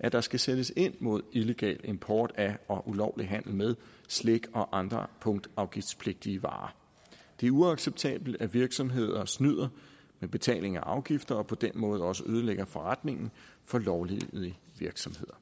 at der skal sættes ind mod illegal import af og ulovlig handel med slik og andre punktafgiftspligtige varer det er uacceptabelt at virksomheder snyder med betaling af afgifter og på den måde også ødelægger forretningen for lovlydige virksomheder